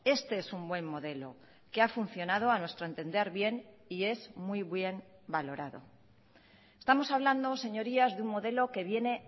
este es un buen modelo que ha funcionado a nuestro entender bien y es muy bien valorado estamos hablando señorías de un modelo que viene